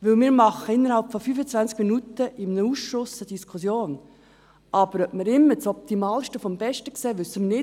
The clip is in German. Denn wir führen in einem Ausschuss innerhalb von 25 Minuten eine Diskussion, aber ob wir immer das Optimalste des Besten sehen, wissen wir nicht.